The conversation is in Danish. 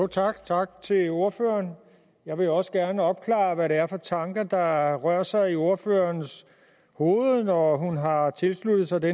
tak tak til ordføreren jeg vil jo også gerne opklare hvad det er for tanker der rører sig i ordførerens hoved når hun har tilsluttet sig det